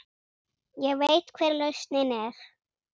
Ég veit hver lausnin er.